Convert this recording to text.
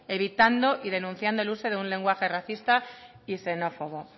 evitando y denunciando el uso de un lenguaje racista y xenófobo